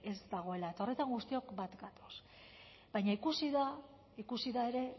ez dagoela eta horretan guztiok bat gatoz baina ikusi da ikusi da ere